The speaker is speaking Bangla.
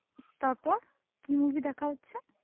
তারপর কি movie দেখা হচ্ছে?